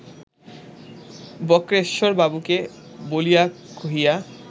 বক্রেশ্বরবাবুকে বলিয়া কহিয়া